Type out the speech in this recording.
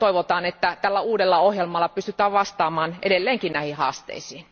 Toivotaan, että tällä uudella ohjelmalla pystytään vastaamaan edelleenkin näihin haasteisiin.